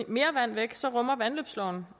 mere vand væk så rummer vandløbsloven